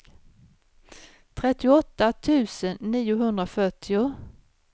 trettioåtta tusen niohundrafyrtio